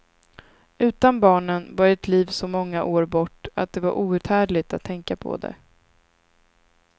Utan barnen var ett liv så många år bort att det var outhärdligt att tänka på det.